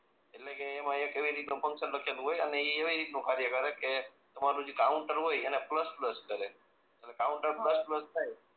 એટલે કે એવી રીત નું ફન્કશન લખેલું હોય અને એ એવી રીત નું કાર્ય કરે જે એ કાઉન્ટર હોય એ પ્લસ પ્લસ કરે અને કાઉન્ટર પ્લસ પ્લસ થાય એટલે